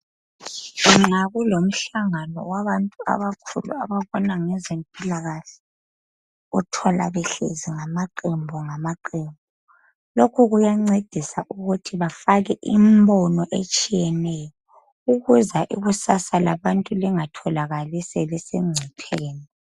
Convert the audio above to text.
Nxa kulomhlangano wabantu abakhulu ababona ngezempilakahle, uthola behlezi ngamaqembu ngamaqembu. Lokhu kuyancedisa ukuthi bafake im'bono etshiyeneyo, ukuze ikusasa labantu lingatholakali selisengcupheni.